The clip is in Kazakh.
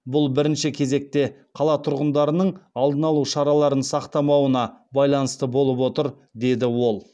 бұл бірінші кезекте қала тұрғындарының алдын алу шараларын сақтамауына байланысты болып отыр деді ол